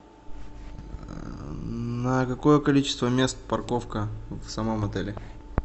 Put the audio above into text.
на какое количество мест парковка в самом отеле